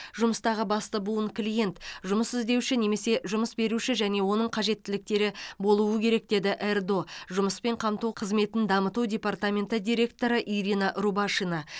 жұмыстағы басты буын клиент жұмыс іздеуші немесе жұмыс беруші және оның қажеттіліктері болуы керек деді ердо жұмыспен қамту қызметін дамыту департаментінің директоры ирина рубашина